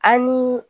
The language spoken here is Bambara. An ni